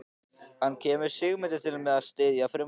En kemur Sigmundur til með að styðja frumvarpið?